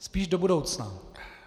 Spíš do budoucna.